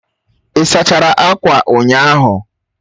Ị sachara akwa ụnyaahụ